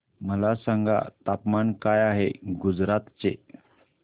मला सांगा तापमान काय आहे गुजरात चे